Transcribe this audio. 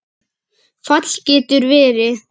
Fall getur verið